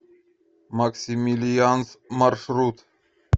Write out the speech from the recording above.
максимилианс маршрут